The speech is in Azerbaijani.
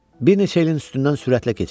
Bir neçə ilin üstündən sürətlə keçək.